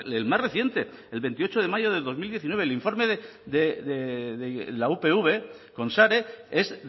el más reciente el veintiocho de mayo de dos mil diecinueve el informe de la upv con sare es